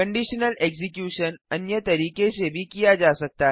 conditional execution अन्य तरीके से भी किया जा सकता है